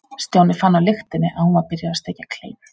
Stjáni fann á lyktinni að hún var byrjuð að steikja kleinur.